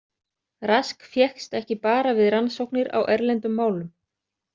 Rask fékkst ekki bara við rannsóknir á erlendum málum.